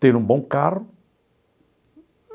Ter um bom carro?